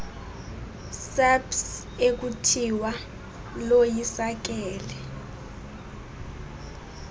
saps ekuthiwa loyisakele